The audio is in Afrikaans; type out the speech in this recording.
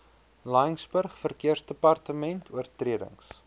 laingsburg verkeersdepartement oortredings